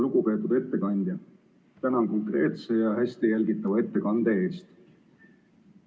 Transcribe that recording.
Lugupeetud ettekandja, tänan konkreetse ja hästi jälgitava ettekande eest!